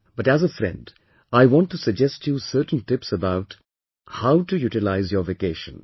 But as a friend, I want to suggest you certain tips about of how to utilize your vacation